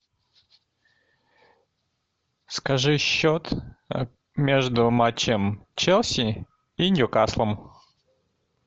скажи счет между матчем челси и ньюкаслом